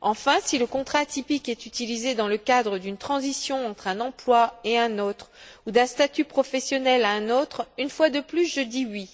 Enfin, si le contrat atypique est utilisé dans le cadre d'une transition entre un emploi et un autre ou d'un statut professionnel à un autre, une fois de plus je dis oui,